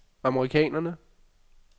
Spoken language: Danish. amerikanerne